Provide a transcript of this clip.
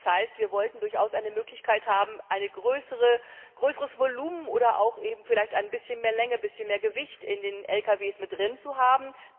Das heißt, wir wollten durchaus eine Möglichkeit haben, ein größeres Volumen oder auch vielleicht ein bisschen mehr Länge, ein bisschen mehr Gewicht bei den Lkws drin zu haben.